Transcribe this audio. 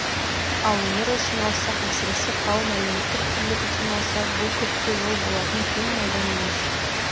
ал өмір үшін алсақ әсіресе қауым әлеуметтік тірлік үшін алсақ бұл көпке жол болатын кең майдан емес